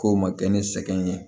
K'o ma kɛ ne sɛgɛn ye